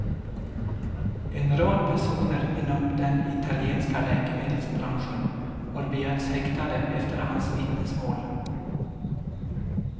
En rad personer inom den italienska läkemedelsbranschen har begärts häktade efter hans vittnesmål.